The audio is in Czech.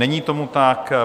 Není tomu tak.